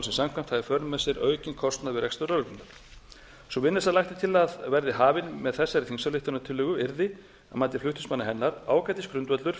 samkvæmt hafa í för með sér aukinn kostnað við rekstur lögreglunnar sú vinna sem lagt er til að verði hafin með þessari þingsályktunartillögu yrði að mati flutningsmanna hennar ágætis grundvöllur